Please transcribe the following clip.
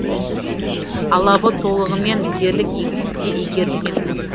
алабы толығымен дерлік егістікке игерілген